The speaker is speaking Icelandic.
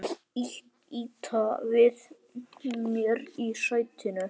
Ýta við mér í sætinu.